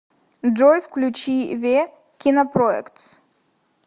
джой включи ве кинопроектс